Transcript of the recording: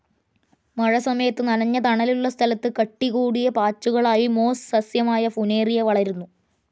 മഴസമയത്ത്, നനഞ്ഞ തണലുള്ള സ്ഥലത്ത് കട്ടികൂടിയ പാച്ചുകൾ ആയി മോസ്‌ സസ്യമായ ഫുനേറിയ വളരുന്നു.